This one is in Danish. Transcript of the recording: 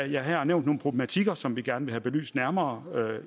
jeg her har nævnt nogle problematikker som vi gerne vil have belyst nærmere